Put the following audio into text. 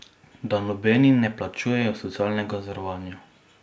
Da nobeni ne plačujejo socialnega zavarovanja.